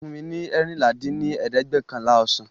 fún mi ní eérinlá dín ní ẹ̀ẹ́dẹ́gbẹ́ọ̀kànlá ọsàn!